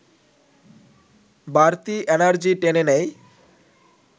বাড়তি এনার্জি টেনে নেয়